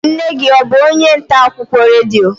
Nne gị ọ bụ onye ntaakụkọ redio?